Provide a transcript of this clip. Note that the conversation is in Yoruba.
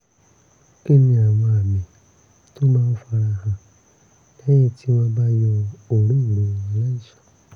kí ni àwọn àmì tó máa ń fara hàn lẹ́yìn tí wọ́n bá yọ òróǹro aláìsàn?